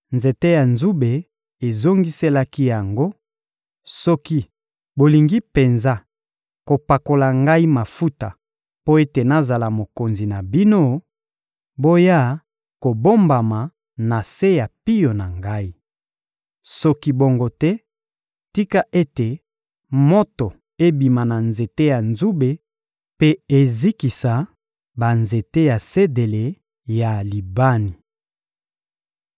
Nzete ya nzube ezongiselaki yango: ‹Soki bolingi penza kopakola ngai mafuta mpo ete nazala mokonzi na bino, boya kobombama na se ya pio na ngai. Soki bongo te, tika ete moto ebima na nzete ya nzube mpe ezikisa banzete ya sedele ya Libani!›